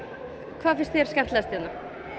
hvað finnst þér skemmtilegast hérna